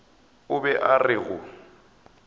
o be a re go